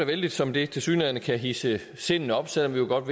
vældigt som det tilsyneladende kan hidse sindene op selv om vi godt